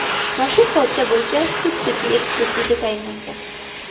Mazkur hodisa bo‘yicha sud-tibbiy ekspertiza tayinlangan.